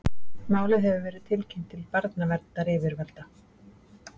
Málið hefur verið tilkynnt til barnaverndaryfirvalda